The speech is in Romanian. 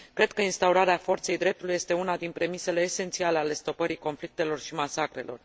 Cred că instaurarea forței dreptului este una din premisele esențiale ale stopării conflictelor și masacrelor.